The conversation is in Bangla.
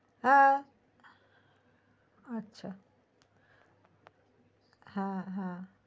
হ্যা আচ্ছা হ্যা হ্যা